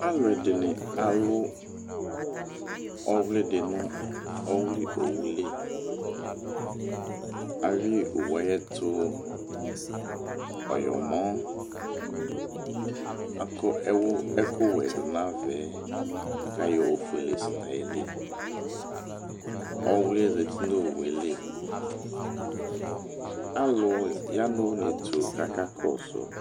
Alʊɛ ɛdinɩ alʊ ɔwlɩdɩ nʊ ɔwlɩ owuli alɩ owu ayɛtʊ ɔẏɔmɔ akɔ ɛwʊ ɛkʊwɛ du n'avɛ kayɔ ofʊele sɛnayili owliɛ zatɩ n'owueli alʊ ya n'unetʊ kaka kɔsʊ